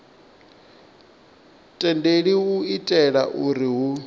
tendelwi u itela uri hu